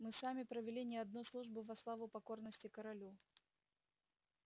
мы сами провели не одну службу во славу покорности королю